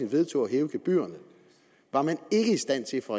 vedtog at hæve gebyrerne var man ikke i stand til fra